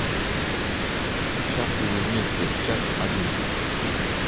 счастливы вместе часть один